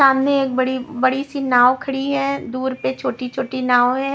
सामने बड़ी बड़ी सी नाव खड़ी है दूर पे छोटी-छोटी नाव है।